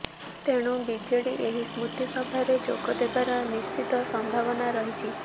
ତେଣୁ ବିଜେଡ଼ି ଏହି ସ୍ମୃତିସଭାରେ ଯୋଗଦେବାର ନିଶ୍ଚିତ ସମ୍ଭାବନା ରହିଛି